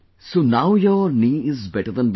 So now your knee is better than before